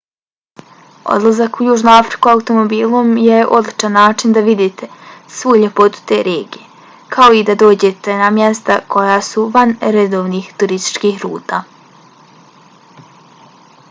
odlazak u južnu afriku automobilom je odličan način da vidite svu ljepotu te regije kao i da dođete na mjesta koja su van redovnih turističkih ruta